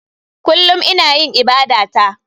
Kullum ina yin ibadata.